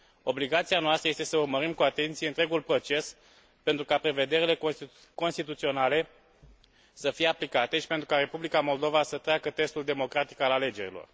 Obligația noastră este să urmărim cu atenție întregul proces pentru ca prevederile constituționale să fie aplicate și pentru ca Republica Moldova să treacă testul democratic al alegerilor.